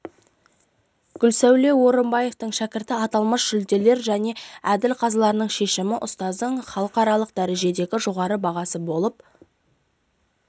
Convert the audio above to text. гүлсәуле орумбаеваның шәкірті аталмыш жүлделер және әділ қазылардың шешімі ұстаздың халықаралық дәрежедегі жоғары бағасы болып